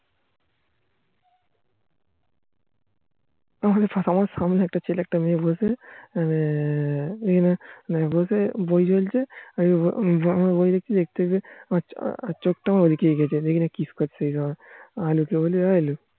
আমার সামনে একটা ছেলে একটা মেয়ে বসে বই চলছে বলে কিরে আমার চোখ তা ঐদিকেই গিয়েছে দেখি ওরা kiss করছে আলু কে বলি এ আলু